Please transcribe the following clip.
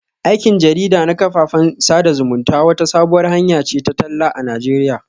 Aikin jarida na kafafen sada zumunta wata sabuwar hanya ce ta talla a Najeriya